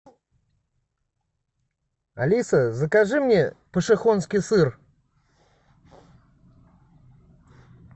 алиса закажи мне пошехонский сыр